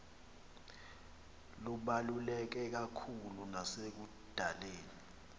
lubaluleke kakhulu nasekudaleni